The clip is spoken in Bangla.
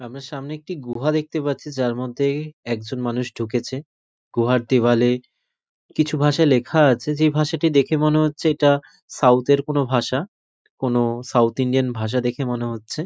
আমার সামনে একটি গুহা দেখতে পাচ্ছি যার মধ্যে-এ একজন মানুষ ঢুকেছে গুহার দেওয়ালে কিছু ভাষায় লেখা আছে যে ভাষাটি দেখে মনে হচ্ছে এটা সাউথ -এর কোনো ভাষা। কোনো সাউথ ইন্ডিয়ান ভাষা দেখে মনে হচ্ছে।